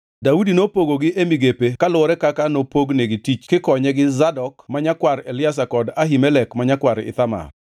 Daudi nopogogi e migepe kaluwore kaka nopognigi tich kikonye gi Zadok ma nyakwar Eliazar kod Ahimelek ma nyakwar Ithamar.